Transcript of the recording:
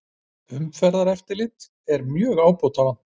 Umferðareftirlit er mjög ábótavant